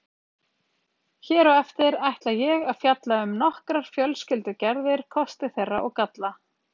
Hér á eftir ætla ég að fjalla um nokkrar fjölskyldugerðir, kosti þeirra og galla.